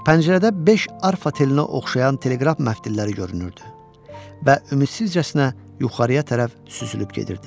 Pəncərədə beş arfa telinə oxşayan teleqraf məftilləri görünürdü və ümidsizcəsinə yuxarıya tərəf süzülüb gedirdi.